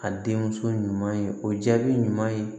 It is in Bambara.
A den muso ɲuman ye o jaabi ɲuman ye